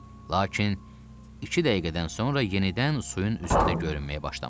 Lakin iki dəqiqədən sonra yenidən suyun üzündə görünməyə başlamışdı.